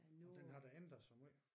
Og den har da ændret sig måj